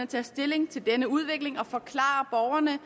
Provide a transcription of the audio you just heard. tager stilling til denne udvikling og forklarer borgerne